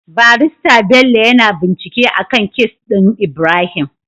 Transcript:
Barista Bello yAna bincike akan case din Ibrahim